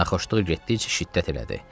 Naxışlıq getdikcə şiddət elədi.